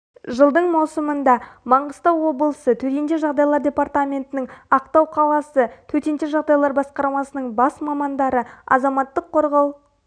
жылдың маусымында маңғыстау облысы төтенше жағдайлар департаментінің ақтау қаласы төтенше жағдайлар басқармасының бас мамандары азаматтық қорғау